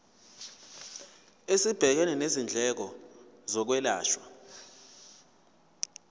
esibhekene nezindleko zokwelashwa